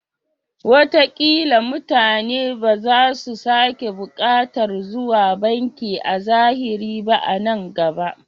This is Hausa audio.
Watakila mutane ba za su sake buƙatar zuwa banki a zahiri ba a nan gaba.